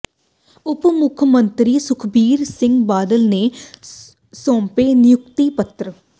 ਉਪ ਮੁੱਖ ਮੰਤਰੀ ਸੁਖਬੀਰ ਸਿੰਘ ਬਾਦਲ ਨੇ ਸੌਂਪੇ ਨਿਯੁਕਤੀ ਪੱਤਰ